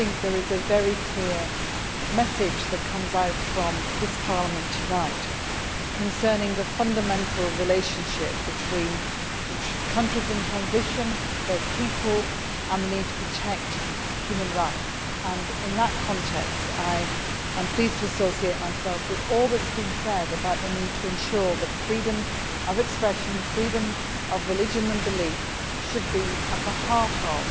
I think there is a very clear message coming out from this Parliament tonight concerning the fundamental relationship between the countries in transition and their people and the need to protect human rights. In that context I am pleased to associate myself with all that has been said about the need to ensure that freedom of expression and freedom of religion and belief should be at the heart of